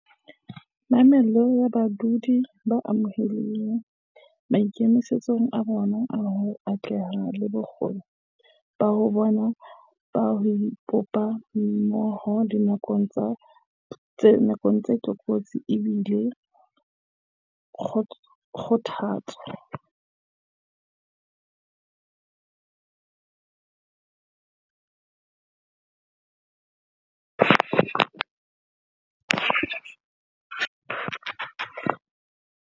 Mamello ya badudi ba amehileng, maikemisetso a bona a ho atleha le bokgoni ba bona ba ho ipopa mmoho dinakong tsa tlokotsi e bile kgothatso.